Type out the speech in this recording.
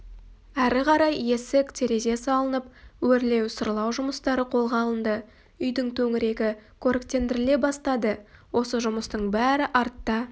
әрі қарай есік-терезе салынып өрлеу-сырлау жұмыстары қолға алынды үйдің төңірегі көріктендіріле бастады осы жұмыстың бәрі артта